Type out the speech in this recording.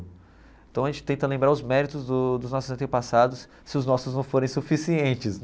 Então a gente tenta lembrar os méritos dos dos nossos antepassados, se os nossos não forem suficientes.